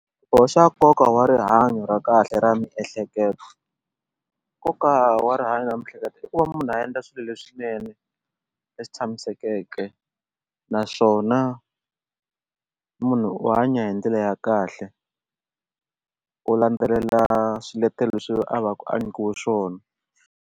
Xiboho xa koka wa rihanyo ra kahle ra miehleketo nkoka wa rihanyo ra mihleketo i ku va munhu a endla swilo leswinene leswi tshamiseke naswona munhu u hanya hi ndlela ya kahle u landzelela swiletelo leswi a va ku a nyikiwe swona.